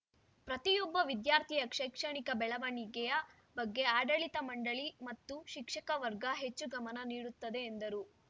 ಪ್ರತಿಯೊಬ್ಬ ವಿದ್ಯಾರ್ಥಿಯ ಶೈಕ್ಷಣಿಕ ಬೆಳವಣಿಗೆಯ ಬಗ್ಗೆ ಆಡಳಿತ ಮಂಡಳಿ ಮತ್ತು ಶಿಕ್ಷಕ ವರ್ಗ ಹೆಚ್ಚು ಗಮನ ನೀಡುತ್ತದೆ ಎಂದರು